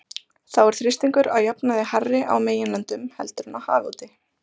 þá er þrýstingur að jafnaði hærri á meginlöndum heldur en á hafi úti